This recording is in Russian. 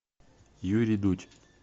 юрий дудь